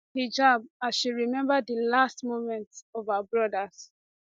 hijab as she remember di last moments of her brothers